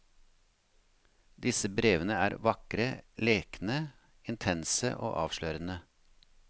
Disse brevene er vakre, lekne, intense og avslørende.